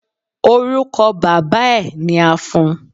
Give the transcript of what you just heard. Orúkọ bàbáa ẹ ni a fún un.